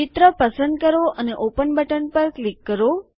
ચિત્ર પસંદ કરો અને ઓપન બટન પર ક્લિક કરો